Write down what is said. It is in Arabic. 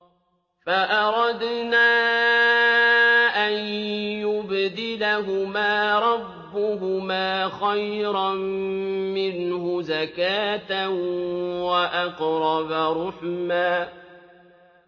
فَأَرَدْنَا أَن يُبْدِلَهُمَا رَبُّهُمَا خَيْرًا مِّنْهُ زَكَاةً وَأَقْرَبَ رُحْمًا